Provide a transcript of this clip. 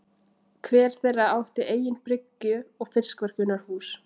Hver þeirra átti eigin bryggju og fiskverkunarhús.